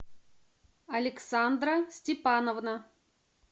александра степановна